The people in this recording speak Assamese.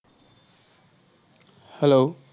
hello